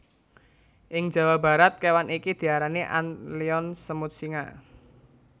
Ing Jawa Barat kewan iki diarani antlion semut singa